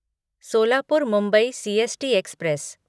Solapur Mumbai CST express